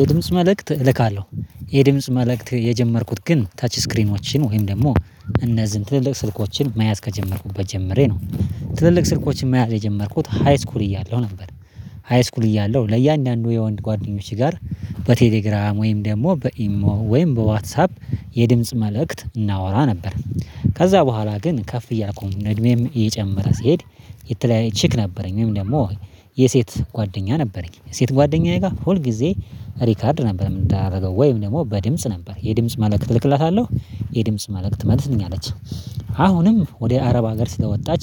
የድምጽ መልእክት እልካለሁ የድምጽ መልእክት የጀመርኩት ግን ታች ስክሪኖችን ወይም ደግሞ እነዚህን ትልልቅ ስልኮችን መያዝ ከጀመርኩበት ጀምሬ ነው ትልልቅ ስልኮችን መያዝ የጀመርኩት ሃይስኩል እያለሁ ነበር። ሃይስኩል እያለው ለእያንዳንዱ የወንድ ጓደኞች ጋር በቴሌግራም ወይም ደግሞ በኢሞ ወይም በዋትሳፕ የድምጽ መልእክት እናወራ ነበር። ከዛ በኋላ ግን ከፍ እያልኩኝ እድሜም እየጨመረ ሲሄድ። የተለያየ ችክ ነበረኝ ወይም ደግሞ የሴት ጓደኛ ነበረኝ ሴት ጓደኛዬ ጋር ሁል ጊዜ ሪከርድ ነበር የምናደርገው ወይም ደግሞ በድምጽ ነበር የድምጽ መልእክት እልክላታለሁ የድምጽ መልእክት ትመልስልኛለች። አሁንም ወደ አረብ ሀገር ስለወጣች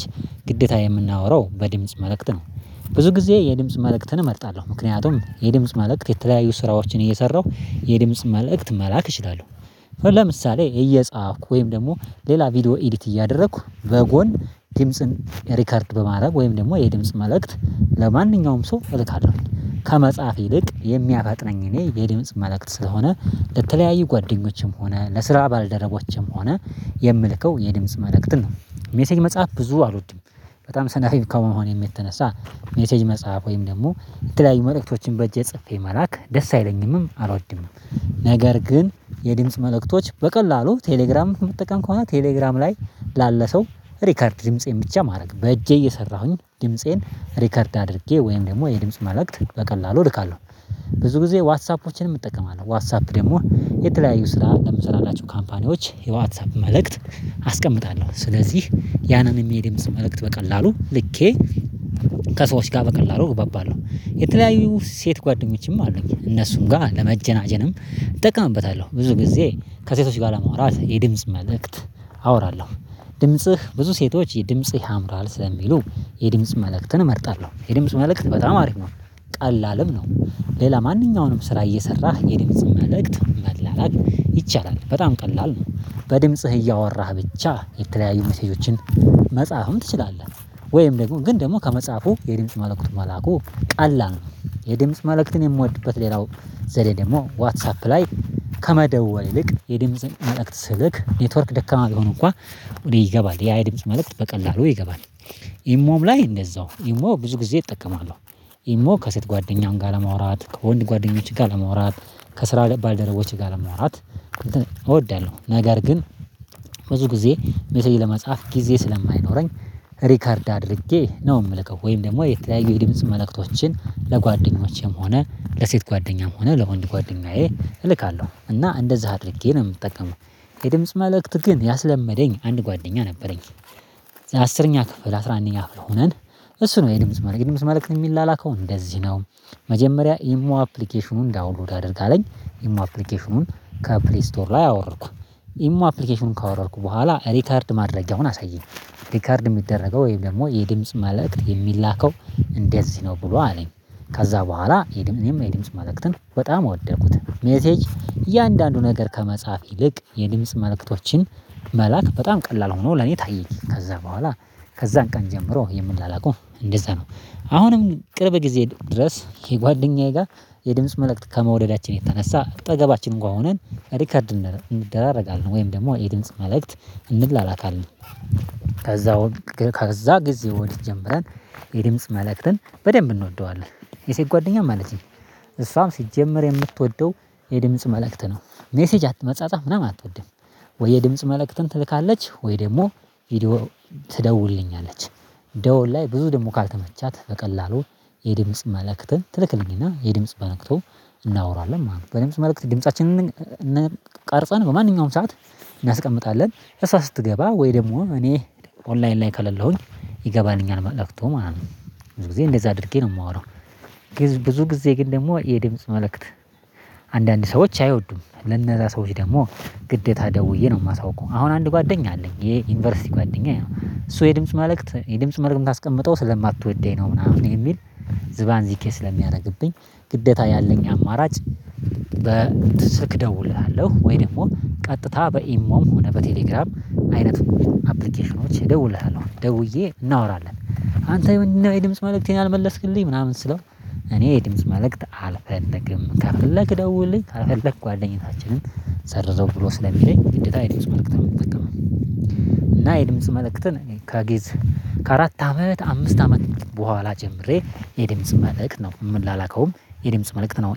ግዴታ የምናወራው በድምጽ መልእክት ነው። ብዙ ጊዜ የድምጽ መልእክትን እመርጣለሁ ምክንያቱም የድምጽ መላእክት የተለያዩ ስራዎችን እየሰራሁ የድምጽ መላእክት መላክ እችላለሁ ለምሳሌ እየጻፍኩ ወይም ደግሞ ሌላ ቪዲዮ ኤዲት እያደረኩ በጎን ድምጽን ሪከርድ በማድረግ ወይም ደግሞ የድምጽ መልእክት ለማንኛውም ሰው እልካለሁ ከመጽሐፍ ይልቅ የሚያፈጥነኝ እኔ የድምጽ መልእክት ስለሆነ። ለተለያዩ ጓደኞችም ሆነ ለስራ ባልደረቦችም ሆነ የምልከው የድምጽ መልእክት ነው ሜሴጅ መጽሐፍ ብዙ አልወድም። በጣም ሰነፍ ከመሆኔ የተነሳ ሜሴጅ መጽሐፍ ወይም ደግሞ እንትን ላይ መልእክቶችን በእጄ ጽፌ መላክ ደስ አይለኝምም አልወድምም ነገር ግን የድምጽ መልእክቶች በቀላሉ ቴሌግራም የምትጠቀም ከሆነ ቴሌግራም ላይ ላለ ሰው ሪከርድ ድምጽ የምትችል ማድረግ በእጄ እየሰራሁኝ ድምፄን ሪከርድ አድርጌ ወይም ደግሞ የድምጽ መላእክት በቀላሉ እልካለሁ። ብዙ ጊዜ ዋትሳፖችንም እጠቀማለሁ ዋትሳፕ ደግሞ የተለያዩ ስራ ለምሰራላቸው ካምፓኒዎች የዋትሳፕ መልእክት አስቀምጣለሁ ስለዚህ ያንን የሚሄድ መልእክት በቀላሉ ልኬ። ከሰዎች ጋር በቀላሉ እግባባለሁ የተለያዩ ሴት ጓደኞችም አሉኝ እነሱም ጋር ለመጀናጀንም እጠቀምበታለሁ ብዙ ጊዜ ከሴቶች ጋር ለማውራት የድምጽ መልእክት አወራለሁ። ድምጽህ ብዙ ሴቶች ድምጽህ ያምራል ስለሚሉ የድምጽ መልእክትን እመርጣለሁ የድምጽ መልእክት በጣም አሪፍ ነው። ቀላልም ነው ሌላ ማንኛውንም ስራ እየሰራህ የድምጽ መልእክት መላላክ ይቻላል በጣም ቀላል ነው። በድምጽህ እያወራህ ብቻ የተለያዩ ሜሴጆችን መጽሐፉን ትችላለህ ወይም ደግሞ ግን ደግሞ ከመጽሐፉ የድምጽ መልእክቱ መላኩ ቀላል ነው። የደምፅ መልእክትን የምወድበት ሌላው ዘዴ ደግሞ ዋትሳፕ ላይ ከመደወል ይልቅ የድምጽን መልእክት ስልክ ኔትወርክ ደካማ ሊሆን እንኳን ወዲህ ይገባል ያ የድምጽ መልእክት በቀላሉ ይገባል። ኢሞም ላይ እንደዛው ኢሞ ብዙ ጊዜ እጠቀማለሁ። ኢሞ ከሴት ጓደኛውን ጋር ለመውራት ከወንድ ጓደኞች ጋር ለመውራት ከስራ ባልደረቦች ጋር ለመኖራት እወዳለሁ። ነገር ግን ብዙ ጊዜ ሜሴጅ ለመጻፍ ጊዜ ስለማይኖረኝ ሪከርድ አድርጌ ነው የምልከው ወይም ደግሞ የተለያየ የድምጽ መላእክቶችን ለጓደኞቼም ሆነ ለሴት ጓደኛም ሆነ ለወንድ ጓደኛዬ እልካለሁ እና እንደዛ አድርጌ ነው የምጠቀመው። የድምጽ መልእክት ግን ያስለመደኝ አንድ ጓደኛ ነበረኝ አስረኛ ክፍል አስራ አንደኛ ክፍል ሆነን እሱ ነው የድምጽ መልእክት ድምጽ መልእክት የሚላከው እንደዚህ ነው። መጀመሪያ ኢሞ አፕሊኬሽኑን ዳውንሎድ አድርግ አለኝ ኢሞ አፕሊኬሽኑን ከፕለይስቶር ላይ አወረኩ ኢሞ አፕሊኬሽኑን ካወረድኩ በኋላ ሪከርድ ማድረግ አሁን አሳየኝ ሪከርድ የሚደረገው ወይም ደግሞ የድምጽ መልእክት የሚላከው እንደዚህ ነው ብሎ አለኝ። ከዛ በኋላ እኔም እኔም የ ድምጽ መልእክትን በጣም ወደኩት ሜሴጅ እያንዳንዱ ነገር ከመጻፍ ይልቅ የድምጽ መልእክቶችን መላክ በጣም ቀላል ሆኖ ለኔ ታየኝ ከዛ በኋላ ከዛን ቀን ጀምሮ የምላላከው እንደዛ ነው። አሁንም ቅርብ ጊዜ ድረስ የጓደኛዬ ጋር የድምጽ መልእክት ከመውደዳችን የተነሳ አጠገባችን እንኳን ሆነን ሪከርድ እንደራረጋለን ወይም ደግሞ የድምጽ መልእክት እንላላከለን ከዛ ከዛ ጊዜ ወዲት ጀምረን የድምጽ መልእክትን በደንብ እንወደዋለን። የሴት ጓደኛ ማለቴ እሷም ሲጀመር የምትወደው የድምጽ መልእክት ነው። ሜሴጅ መጻጻፍ ምናምን አትወድም ወይ የድምጽ መልእክትን ትልካለች ወይ ደግሞ ቪዲዮ ትደውልልኛለች ደወል ላይ ብዙ ደግሞ ካልተመቻት ቀላሉ በቀላሉ የድምጽ መልእክትን ትልክልኝና የድምጽ መልእክቶ እናወራለን። ማለት ነው በደንብ መልእክት ድምፃችንን እንቃርፀን በማንኛውም ሰዓት እናስቀምጣለን እሷጽስትገባ ወይ ደግሞ እኔ ኦንላይን ላይ ከለለሁኝ ይገባኛል መልእክቱ ማለት ነው። ብዙ ጊዜ እንደዛ አድርጌ ነው የማወራው። ብዙ ጊዜ ግን ደግሞ የድምጽ መልእክት አንዳንድ ሰዎች አይወዱም ለነዛ ሰዎች ደግሞ ግዴታ ደውዬ ነው የማሳውቀው አሁን አንድ ጓደኛ አለኝ የዩኒቨርሲቲ ጓደኛ ነው እሱ የድምጽ ማለት የድምጽ መርም ካስቀመጠው ስለማትወደኝ ነው ምናምን የሚል ዝባዝንኬ ስለሚያደርግብኝ ግዴታ ያለኝ አማራጭ። ስልክ እደውልሃለሁ ወይ ደግሞ ቀጥታ በኢሞም ሆነ በቴሌግራም አይነት አፕሊኬሽኖች ደውለህ አሁን ደውዬ እናወራለን አንተ የድምጽ መልእክት ያልመለስክልኝ ምናምን ስለው እኔ የድምጽ መልእክት አልፈለግም ከፍለግ ደውልልኝ አልፈለግ ጓደኝነታችንን ሰርዘው ብሎ ስለሚለኝ ግዴታ የድምጽ መልእክት ነው የምትጠቀመው። እና የድምጽ መልእክትን ከጊዝ ከአራት አመት አምስት አመት በኋላ ጀምሬ የድምጽ መልእክት ነው ምላላከውም የድምጽ መልእክት ነው